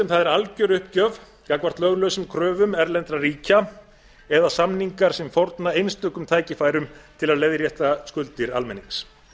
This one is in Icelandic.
er algjört uppgjör gagnvart löglausum kröfum erlendra ríkja eða samningar sem fórna einstökum tækifærum til að leiðrétta skuldir almennings